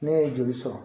Ne ye joli sɔrɔ